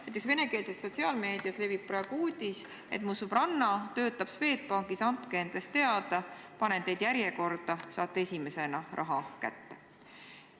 Näiteks venekeelses sotsiaalmeedias levib praegu uudis, et mu sõbranna töötab Swedbankis, andke endast teada, panen teid järjekorda, saate esimesena raha kätte.